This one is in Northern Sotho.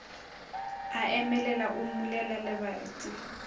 a emelela o mmulela lebati